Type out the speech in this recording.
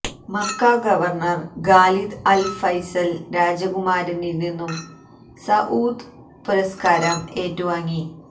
Mecca governor Khalid Al Faisal രാജകുമാരനില് നിന്നും Saud പുരസ്കാരം ഏറ്റുവാങ്ങി